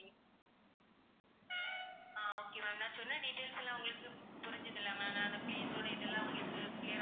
ஆஹ் okay ma'am நான் சொன்ன details எல்லாம் உங்களுக்குப் புரிஞ்சுது இல்ல ma'am நான் அந்த place ஓட இதெல்லாம் உங்களுக்கு clear ஆ